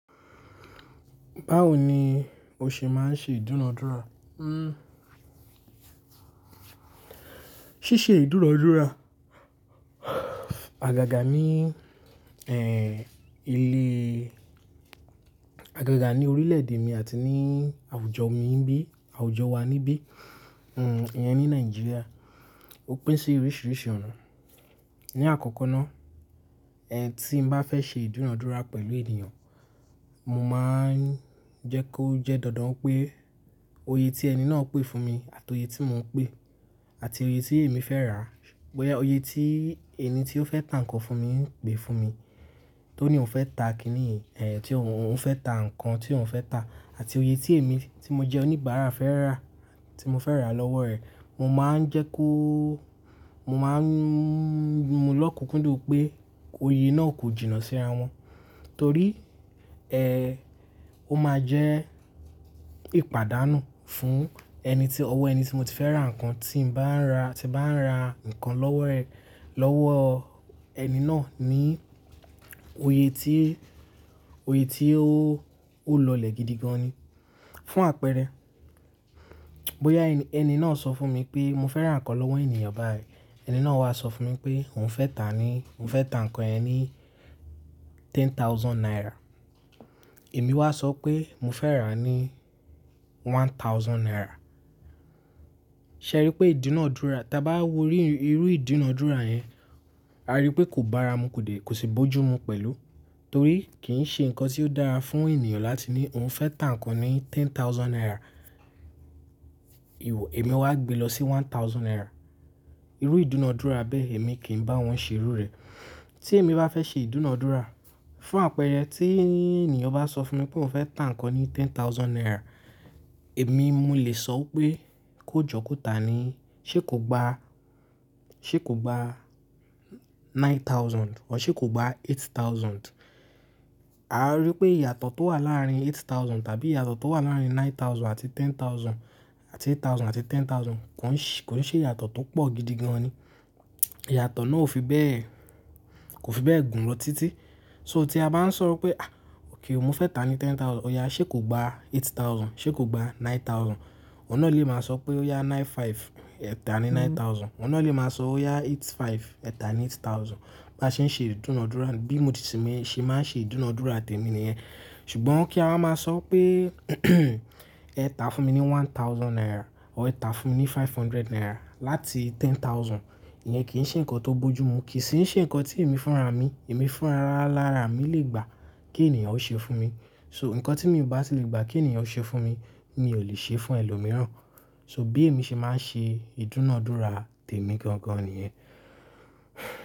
Báwo ni o ṣe máa ń ṣe ìdúnadúrà? Síse ìdúnadúrà, àgàgà ní, ẹ́, ilé, àgàgà ní orílẹ̀ èdè mi àti ní àwùjọ mi ń bi, àwùjọ wa níbí, hm, iyẹn ní Nigeria, ó pín sí oríṣiríṣi ọ̀nà. Ni àkọ́kọ́ ná, ẹ́, tí n bá fẹ́ ṣe ìdúnadúrà pẹ̀lú ènìyàn, mo máa ń jẹ́ kó jẹ́ dandan pé oye tí ẹni náà pè fún mi àti oye tí mò ń pè àti oye tí èmi fẹ́ rà, bóyá oye tí ẹni tí ó fẹ́ tà nǹkan fún mi ń pè fún mi, tó ní òun fẹ́ tà kìní, ẹ́, tí òun fẹ́ tà nǹkan tí òun fẹ́ tà àti oye tí èmi tí mo jẹ oníbàárà fẹ́ rà, tí mo fẹ́ rà lọ́wọ́ rẹ̀, mo máa ń jẹ́ kó, mo máa ń yomulọ́kun kúndùn pé oye náà kò jìnnà síra wọn. Torí, ẹ́, ó máa jẹ́ ìpàdánù fún ẹni tí, ọwọ́ ẹni tí mo ti fẹ́ rà nǹkan tí ń bá ń ra, tí bá ń ra nǹkan lọ́wọ́ rẹ̀, lọ́wọ́ ẹni náà ní oye tí, oye tí ó, ó lọlẹ̀ gidi gan ni. Fún àpẹẹrẹ, bóyá ẹni náà sọ fún mi pé mo fẹ́ rà nǹkan lọ́wọ́ ènìyàn báyìí, ẹni náà wá sọ fún mi pé òun fẹ́ tà ní, òun fẹ́ tà nǹkan yẹn ní ten thousand naira. Èmi wá sọ pé mo fẹ́ rà ní one thousand naira. Ṣe ẹ rí pé ìdúnadúrà, tí a bá wo rí irú ìdúnadúrà yẹn, a rí pé kò bá ara mu kò dé, kò sì bójú mu pẹ̀lú. Torí kì í ṣe nǹkan tí ó dára fún ènìyàn láti ní òun fẹ́ tà nǹkan ní ten thousand naira, èmi wá gbe lọ sí one thousand naira. Irú ìdúnadúrà bẹ́ẹ̀ èmi kì í bá wọn ṣe rú rẹ̀. Tí èmi bá fẹ́ ṣe ìdúnadúrà, fún àpẹẹrẹ tí ènìyàn bá sọ fún mi pé òun fẹ́ tà nǹkan ní ten thousand naira, èmi mo lè sọ pé kó jọ kó tà ní, ṣe kò gba, ṣe kò gba nine thousand ọ́ ṣe kò gba eight thousand. A rí pé ìyàtọ̀ tó wà láàárín eight thousand tàbí ìyàtọ̀ tó wà láàárín nine thousand àti ten thousand àti eight thousand àti ten thousand kò ń ṣe ìyàtọ̀ tó pọ̀ gidi gan ni. Ìyàtọ̀ náà ò fi bẹ́ẹ̀, kò fi bẹ́ẹ̀ gùn lọ títí. So tí a bá ń sọ pé, à, òkè, mo fẹ́ tà ní ten thousand, ọ̀ya, ṣe kò gba eight thousand, ṣe kò gba nine thousand. Òun náà lè máa sọ pé ọ̀ya nine five, ẹ tà ní nine thousand. Òun náà lè máa sọ ọ̀ya eight five, ẹ tà ní eight thousand. Bá ṣe ń ṣe ìdúnadúrà, bí mo ti sì ń ṣe máa ń ṣe ìdúnadúrà tẹ̀mi nìyẹn. Ṣùgbọ́n kí a máa sọ pé ẹ tà fún mi ní one thousand naira ọ́ ẹ tà fún ní five hundred naira láti ten thousand, ìyẹn kì í ṣe ǹkan tó bójú mu, kì í sì ṣe ǹkan tí èmi fúnra mi, èmi fúnra lara mi lè gbà kí ènìyàn ó ṣe fún mi. So ǹkan tí èmi bá ti lè gbà kí ènìyàn ó ṣe fún mi, mi ò lè ṣe fún ẹlòmíràn. So bí èmi ṣe máa ń ṣe ìdúnadúrà tẹ̀mí gan gan nìyẹn.